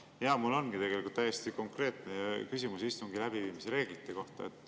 Jaa, mul ongi tegelikult täiesti konkreetne küsimus istungi läbiviimise reeglite kohta.